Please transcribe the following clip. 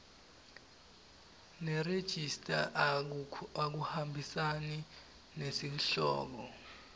nerejista akuhambisani nesihloko